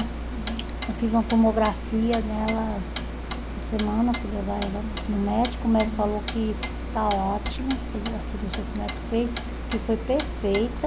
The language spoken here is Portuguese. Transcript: Eu fiz uma tomografia nela essa semana, fui levar ela no médico, o médico falou que está ótimo, a cirurgia que o médico fez, que foi perfeita.